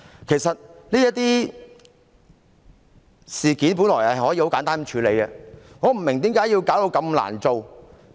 其實，這些事件本來可以簡單處理，我不明白為何要弄得這麼複雜。